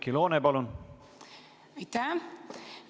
Aitäh!